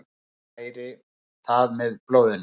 Næri það með blóðinu.